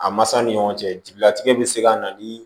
A masaw ni ɲɔgɔn cɛ jigilatigɛ bɛ se ka na ni